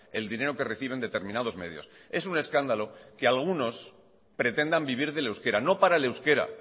el dinero que reciben determinados medios es un escándalo que algunos pretendan vivir del euskera no para el euskera